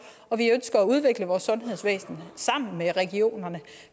og vi ønsker at udvikle vores sundhedsvæsen sammen med regionerne